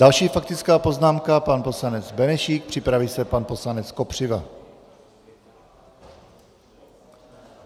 Další faktická poznámka, pan poslanec Benešík, připraví se pan poslanec Kopřiva.